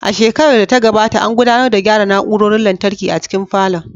A shekarar da ta gabata, an gudanar da gyara na'urorin lantarki a cikin falon